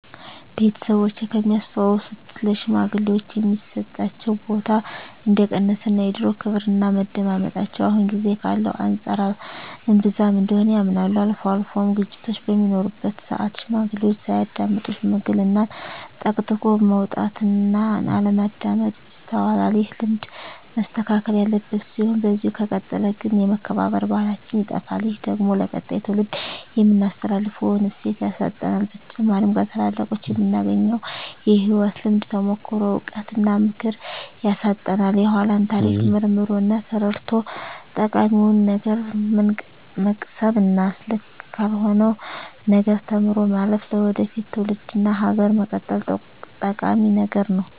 ቤተሰቦቼ ከሚያስታውሱት ለሽማግሌወች የሚሰጣቸው ቦታ እንደቀነሰ እና የድሮው ክብርና መደመጣቸው አሁን ጊዜ ካለው አንፃር እንብዛም እንደሆነ ያምናሉ። አልፎ አልፎም ግጭቶች በሚኖሩበት ስአት ሽማግሌዎችን ሳያዳምጡ ሽምግልናን ጠቅጥቆ መውጣት እና አለማዳመጥ ይስተዋላል። ይህ ልማድ መስተካከል ያለበት ሲሆን በዚህ ከቀጠለ ግን የመከባበር ባህላችን ይጠፋል። ይህ ደግሞ ለቀጣይ ትውልድ የምናስተላልፈውን እሴት ያሳጣናል። በተጨማሪም ከታላላቆቹ የምናገኘውን የህይወት ልምድ፣ ተሞክሮ፣ እውቀት እና ምክር ያሳጣናል። የኃላን ታሪክ መርምሮ እና ተረድቶ ጠቃሚውን ነገር መቅሰም እና ልክ ካልሆነው ነገር ተምሮ ማለፍ ለወደፊት ትውልድ እና ሀገር መቀጠል ጠቂሚ ነገር ነው።